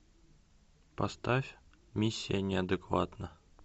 поставь миссия неадекватна